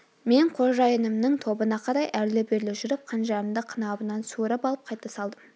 мен қожайынымның тобына қарай әрлі-берлі жүріп қанжарымды қынабынан суырып алып қайта салдым